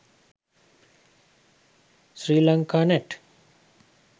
sri lanka nat